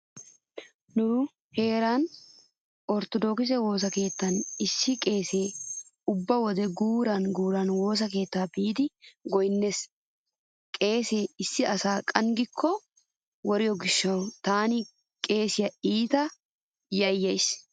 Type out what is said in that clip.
Nu heeran orttodokise woosa keettan issi qeesee ubba wode guuran guuran woosa keettaa biidi goynnees. Qeeseekka issi asa qanggikko woriyo gishshawu taani qeesiya iita yayyays.